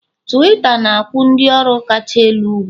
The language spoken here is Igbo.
Tuwiita na-akwụ ndị ọrụ kacha elu ugwu